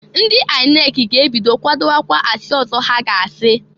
Ndị INEC ga-ebido kwadokwa asị ọzọ ha ga-asi.